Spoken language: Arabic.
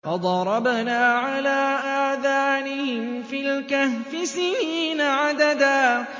فَضَرَبْنَا عَلَىٰ آذَانِهِمْ فِي الْكَهْفِ سِنِينَ عَدَدًا